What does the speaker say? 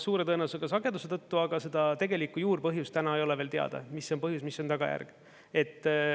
Suure tõenäosusega sageduse tõttu, aga seda tegelikku juurpõhjust täna ei ole veel teada, mis on põhjus, mis tagajärg.